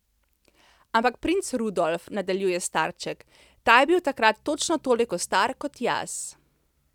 Ampak princ Rudolf, nadaljuje starček, ta je bil takrat točno toliko star kot jaz.